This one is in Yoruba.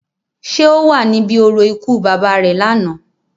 Ṣé o wa níbì orȯ ikú baba re làná?